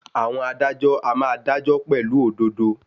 Àwọn adájọ́ a máa dájọ́ pẹ̀lú òdodo.